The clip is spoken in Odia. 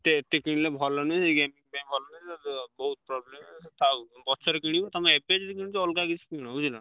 ଏତେ ଏଠି କିଣିଲେ ଭଲ ନୁହେଁ ଯାଇକି ଉ ବହୁତ୍ problem ହବ। ଥାଉ ପଛରେ କିଣିବୁ, ତମେ ଏବେ ଯଦି କିଣୁଚ ଅଲଗା କିଛି କିଣ ବୁଝିଲ?